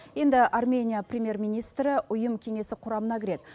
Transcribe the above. енді армения премьер министрі ұйым кеңесі құрамына кіреді